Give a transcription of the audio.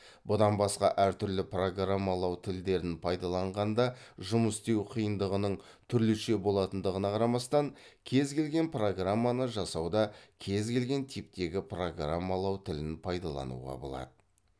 бұдан басқа әртүрлі программалау тілдерін пайдаланғанда жұмыс істеу қиындығының түрліше болатындағына қарамастан кез келген программаны жасауда кез келген типтегі программалау тілін пайдалануға болады